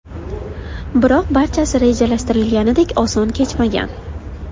Biroq barchasi rejalashtirilganidek oson kechmagan.